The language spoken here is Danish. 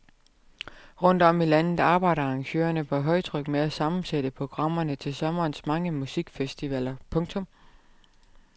Rundt om i landet arbejder arrangører på højtryk med at sammensætte programmerne til sommerens mange musikfestivaler. punktum